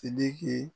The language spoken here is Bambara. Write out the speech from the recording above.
Sidiki